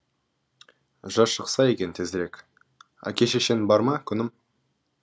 жаз шықса екен тезірек әке шешең бар ма күнім